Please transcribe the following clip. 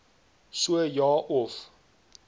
so ja of